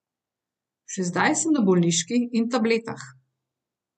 Še zdaj sem na bolniški in tabletah.